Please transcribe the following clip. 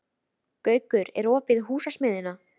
Gaukur, er opið í Húsasmiðjunni?